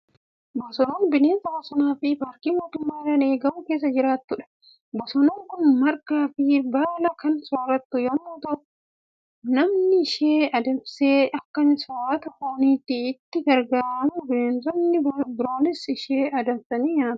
Bosonuun bineensa bosonaa fi paarkii mootummaadhaan eegamu keessa jiraattudha. Bosonuun kun margaa fi baala kan soorattu yommuu ta'u, namni ishee adamsee akka soorata fooniitti itti gargaarama. Bineensonni biroonis ishee adamsanii nyaatu.